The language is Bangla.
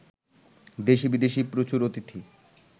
দেশী বিদেশী প্রচুর অতিথি